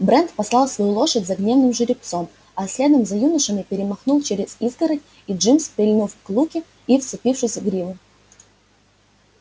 брент послал свою лошадь за гнедым жеребцом а следом за юношами перемахнул через изгородь и джимс прильнув к луке и вцепившись в гриву